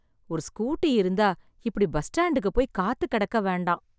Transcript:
ஒரு ஸ்கூட்டி இருந்தா இப்படி பஸ் ஸ்டாண்டுக்கு போய் காத்து கிடக்க வேண்டாம்